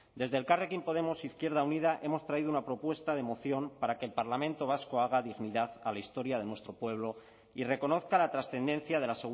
desde elkarrekin podemos izquierda unida hemos traído una propuesta de moción para que el parlamento vasco haga dignidad a la historia de nuestro pueblo y reconozca la trascendencia de la